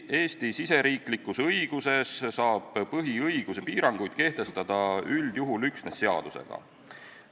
Eesti õiguses saab põhiõiguse piiranguid kehtestada üldjuhul üksnes seadusega.